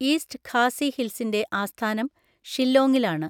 East Khasi ഹിൽസിന്റെ ആസ്ഥാനം ഷില്ലോങ്ങിലാണ്.